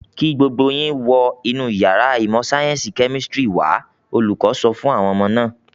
"Kí gbogbo yín wọ inú ìyàrá ìmọ̀-sáyẹ́ńsì kẹ́mísítírì wà á!" Olùkọ́ sọ fún àwọn ọmọ náà.